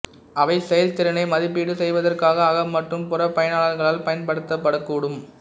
அவை செயல்திறனை மதிப்பீடு செய்வதற்காக அக மற்றும் புற பயனர்களால் பயன்படுத்தப்படக்கூடும்